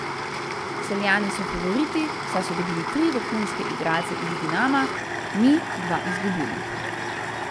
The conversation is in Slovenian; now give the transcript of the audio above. Celjani so favoriti, saj so dobili tri vrhunske igralce iz Dinama, mi dva izgubili.